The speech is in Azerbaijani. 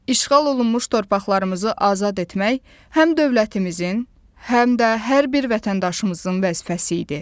İşğal olunmuş torpaqlarımızı azad etmək, həm dövlətimizin, həm də hər bir vətəndaşımızın vəzifəsi idi.